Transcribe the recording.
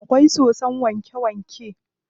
Akwai sosson wanke wanke.